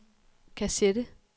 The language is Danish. kassette